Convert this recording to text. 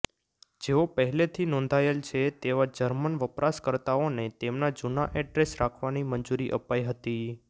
જેઓ પહેલેથી નોંધાયેલ છે તેવા જર્મન વપરાશકર્તાઓને તેમના જૂના એડ્રેસ રાખવાની મંજૂરી અપાઇ હતી